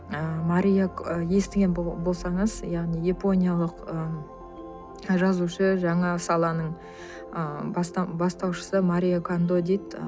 ы ы естіген болсаңыз яғни япониялық ы жазушы жаңа саланың ы бастаушысы марио кандо дейді